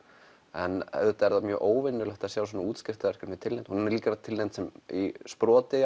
en auðvitað er það mjög óvenjulegt að sjá svona tilnefnt hún hefur líka verið tilnefnd sem sproti